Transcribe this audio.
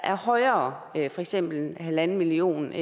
er højere for eksempel en en halv million